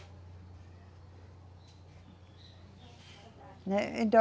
Né, então..